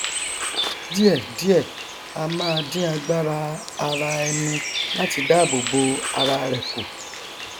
díẹ díẹ á máa dín agbára ara ẹni láti dáàbò bo ararẹ kù